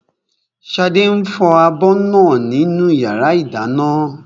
Ṣadé ń fọ abọ́ náà nínú yàrá ìdáná